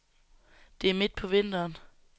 Det er midt på vinteren.